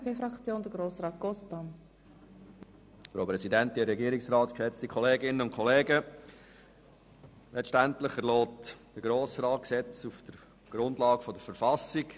Letztendlich erlässt der Grosse Rat Gesetze auf der Grundlage der Verfassung.